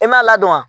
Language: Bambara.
E m'a ladɔn wa